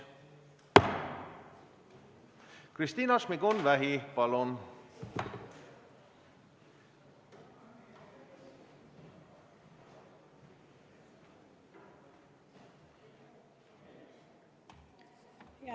Kristina Šmigun-Vähi, palun!